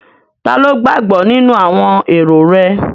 Taló gbàgbọ́ nínú àwọn èrò rẹ̀?